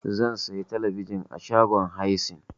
Zan siyo talabijin a shagon Haisens.